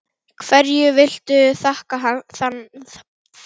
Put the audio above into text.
Hverju viltu þakka þann árangur?